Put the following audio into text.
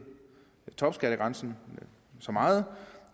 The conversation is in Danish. topskattegrænsen så meget